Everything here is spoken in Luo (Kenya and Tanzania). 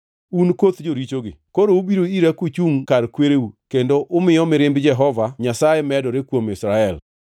“Un koth jorichogi, koro ubiro ira, kuchungʼ kar kwereu kendo umiyo mirimb Jehova Nyasaye medore kuom Israel.